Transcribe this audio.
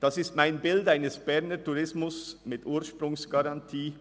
Das ist mein Bild eines Berner Tourismus mit Ursprungsgarantie.